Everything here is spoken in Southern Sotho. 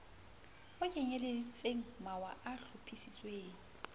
o kenyeleditseng mawa a hlophisitsweng